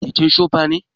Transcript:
keken chopa ne